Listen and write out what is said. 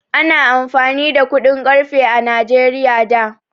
Ana amfani da kuɗin ƙarfe a Najeriya da.